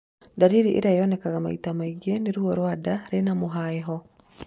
Ndariri ĩrĩa yonekaga maita mĩingĩ nĩ ruo rwa nda rwĩna mũhiaho.